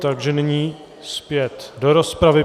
Takže nyní zpět do rozpravy.